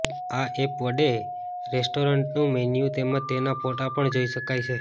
આ એપ વડે રેસ્ટોરન્ટનું મેન્યુ તેમજ તેના ફોટા પણ જોઇ શકાય છે